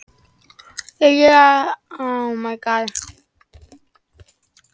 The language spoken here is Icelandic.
Er hér aðallega átt við óbreytta borgara, særða og sjúka hermenn, stríðsfanga og starfsfólk hjálparsamtaka.